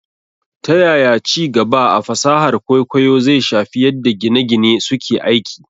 Ta yaya ci gaba a fasahar kwaikwayo zai shafi yadda gine - gine suke aiki?